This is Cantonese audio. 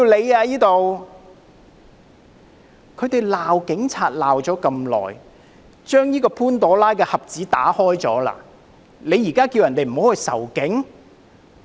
"他們過去不斷地罵警察，打開了這個潘朵拉盒子，現在才叫人不要仇警？